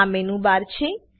આ menu bar છે